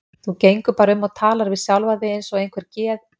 Þú gengur bara um og talar við sjálfa þig eins og einhver geð